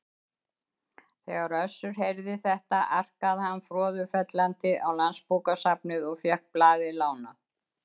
Þegar Össur heyrði þetta arkaði hann froðufellandi á Landsbókasafnið og fékk blaðið lánað.